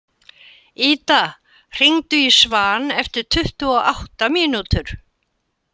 Ida, hringdu í Svan eftir tuttugu og átta mínútur.